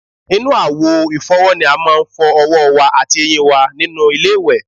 Inú àwo ìfọ́wọ́ ni a máa ń fọ ọwọ́ wá àti eyín wa nínú ilé-ìwẹ̀